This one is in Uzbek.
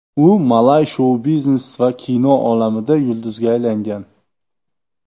U malay shou-biznes va kino olamida yulduzga aylangan.